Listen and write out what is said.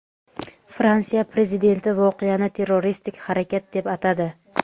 Fransiya Prezidenti voqeani terroristik harakat deb atadi.